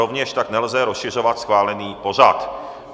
Rovněž tak nelze rozšiřovat schválený pořad.